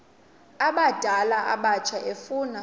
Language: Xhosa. abadala abatsha efuna